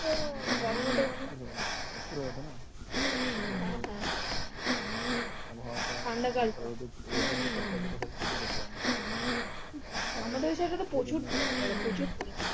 অস্থির হয়ে ওঠেনা ঠিক মতো রোদের যে tempareture থাকে সহ্য করতে পারেনা মানে যে